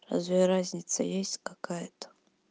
разве разница есть какая-то